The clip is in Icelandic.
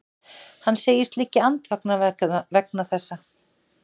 Hann segist liggja andvaka vegna þessa